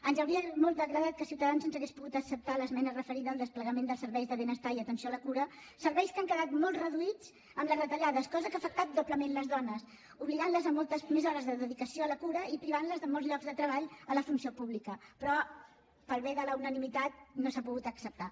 ens hauria agradat molt que ciutadans ens hagués pogut acceptar l’esmena referida al desplegament dels serveis de benestar i atenció a la cura serveis que han quedat molt reduïts amb les retallades cosa que ha afectat doblement les dones les ha obligat a moltes més hores de dedicació a la cura i les ha privat de molts llocs de treball a la funció pública però pel bé de la unanimitat no s’ha pogut acceptar